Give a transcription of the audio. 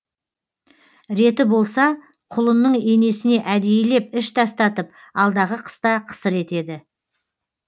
реті болса құлынның енесіне әдейілеп іш тастатып алдағы қыста қысыр етеді